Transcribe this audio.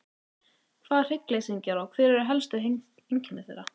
Hvað eru hryggleysingjar og hver eru helstu einkenni þeirra?